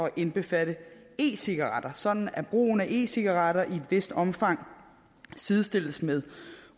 indbefatte e cigaretter sådan at brugen af e cigaretter i et vist omfang sidestilles med